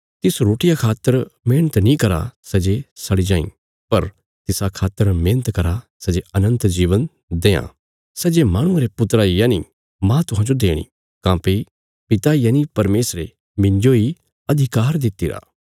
तिसा रोटिया खातर मेहणत नीं करा सै जे सड़ी जाईं पर तिसा खातर मेहणत करा सै जे अनन्त जीवन देआं सै जे माहणुये रे पुत्रा यनि मांह तुहांजो देणी काँह्भई पिता यनि परमेशरे मिन्जो इ अधिकार दित्तिरा